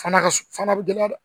Fana ka fana bɛ gɛlɛya